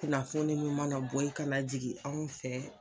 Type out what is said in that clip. Kunnafoni mun mana bɔ ye kana jigi anw fɛ